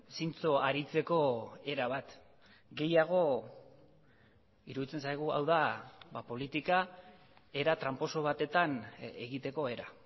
zintzo aritzeko erabat gehiago iruditzen zaigu hau da politika era tranposo batetan egiteko era